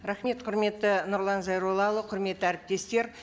рахмет құрметті нұрлан зайроллаұлы құрметті әріптестер